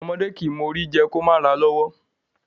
Ọmọdé kìí mọ Ori jẹ kí ó mà ràa lọ́wọ́.